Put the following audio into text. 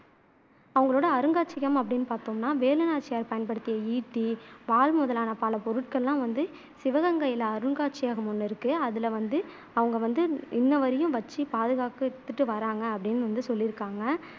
அவங்களோட அருங்காட்சியகம் அப்படின்னு பாத்தோம்னா அருங்காட்சியகம் வேலு நாச்சியார் பயன்படுத்திய ஈட்டி, வாள் முதலான பல பொருட்கள் எல்லாம் வந்து சிவகங்கையில அருங்காட்சியகம் ஒண்ணு இருக்கு அதுல வந்து அவங்க வந்து இன்னை வரையிலும் வச்சு பாதுகாத்துட்டு வர்றாங்கா அப்படின்னு வந்து சொல்லியிருக்காங்க